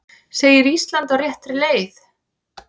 Segir Ísland á réttri leið